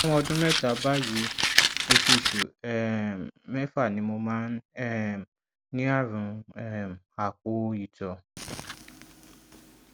fún ọdún mẹta bàyìí oṣooṣù um mẹfà ni mo máa um ń ní àrùn um àpò ìtọ